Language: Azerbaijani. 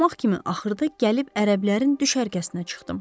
Axmaq kimi axırda gəlib ərəblərin düşərgəsinə çıxdım.